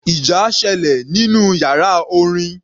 Ìjà sẹlẹ̀ nínú yàrá orin.